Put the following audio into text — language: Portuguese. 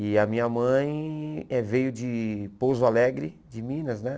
E a minha mãe eh veio de Pouso Alegre, de Minas, né?